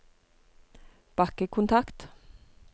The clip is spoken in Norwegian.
bakkekontakt